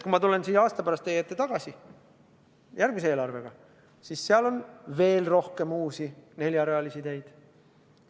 Kui ma tulen aasta pärast teie ette järgmise eelarvega, siis seal on veel rohkem uusi neljarealisi teid.